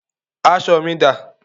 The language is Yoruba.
Aṣọ mi dá?